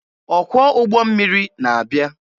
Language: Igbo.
Ọkwọ ụgbọ mmiri na-abịa.